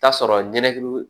Taa sɔrɔ nin nekili